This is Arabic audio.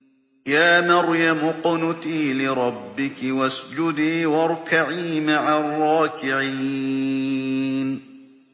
يَا مَرْيَمُ اقْنُتِي لِرَبِّكِ وَاسْجُدِي وَارْكَعِي مَعَ الرَّاكِعِينَ